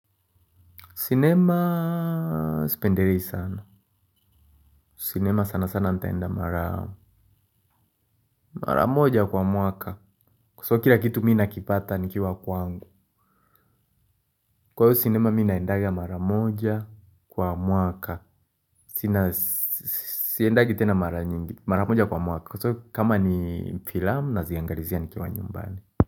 Sinema spenderei sana. Sinema sana sana ntaenda mara moja kwa mwaka. Kwa soo kila kitu mi nakipata nikiwa kwangu. Kwa hiyo sinema mi naendaga mara moja kwa mwaka. Sina siendagi tena mara nyingi mara moja kwa mwaka. Kwa soo kama ni filam naziangalizia nikiwa nyumbani.